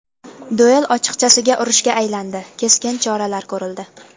Duel ochiqchasiga urushga aylandi, keskin choralar ko‘rildi.